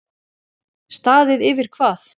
Staðið yfir hvað?